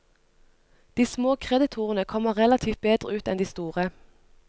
De små kreditorene kommer relativt bedre ut enn de store.